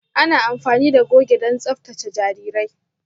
Ana amfani da goge don tsaftace jarirai.